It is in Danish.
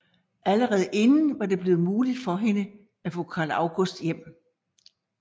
Allerede inden var det blevet muligt for hende at få Carl August hjem